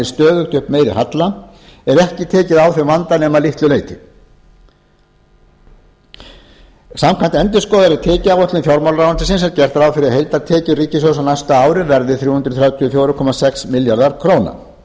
halla er ekki tekið á þeim vanda nema að litlu leyti samkvæmt endurskoðaðri tekjuáætlun fjármálaráðuneytisins er gert ráð fyrir að heildartekjur ríkissjóðs á næsta ári verði þrjú hundruð þrjátíu og fjögur komma sex milljarðar